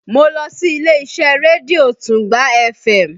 Mo lọ sí ilé-iṣẹ́ rédíó Tungba fm